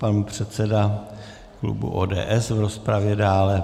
Pan předseda klubu ODS v rozpravě dále.